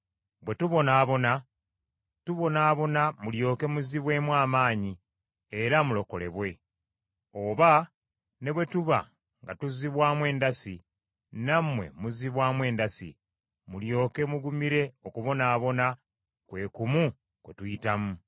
Bwe tubonaabona, tubonaabona mulyoke muzibwemu amaanyi era mulokolebwe; oba ne bwe tuba nga tuzzibwamu endasi nammwe muzibwamu endasi, mulyoke mugumire okubonaabona kwe kumu kwe tuyitamu.